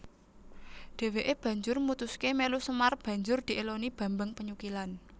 Dhèwèké banjur mutuské melu Semar banjur diéloni Bambang Penyukilan